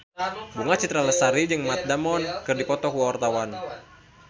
Bunga Citra Lestari jeung Matt Damon keur dipoto ku wartawan